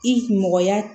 I mɔgɔya